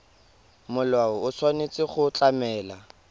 molao o tshwanetse go tlamela